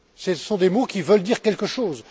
Ce sont des mots qui veulent dire quelque chose.